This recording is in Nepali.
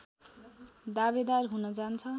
दावेदार हुन जान्छ